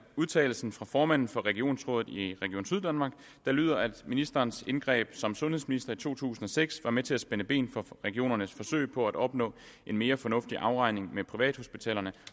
udtalelsen fra formanden for regionsrådet i region syddanmark der lyder at ministerens indgreb som sundhedsminister i to tusind og seks var med til at spænde ben for regionernes forsøg på at opnå en mere fornuftig afregning med privathospitalerne